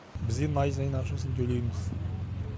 біз енді ай сайын ақшасын төлейміз